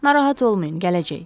Narahat olmayın, gələcək.